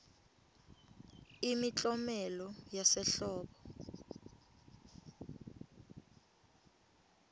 imiklomelo yasehlobo